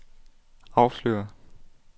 afsløret